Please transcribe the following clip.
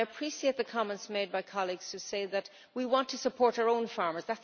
I appreciate the comments made by colleagues who say that they want to support their own farmers.